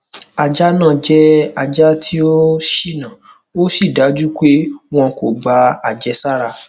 ajá náà jẹ ajá tí ó ṣìnà ó sì dájú pé wọn kò gba àjẹsára